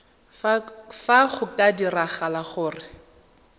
fa go ka diragala gore